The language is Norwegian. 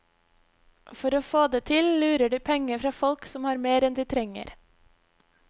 For å få det til, lurer de penger fra folk som har mer enn de trenger.